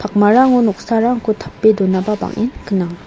pakmarango noksarangko tape donaba bang·en gnang.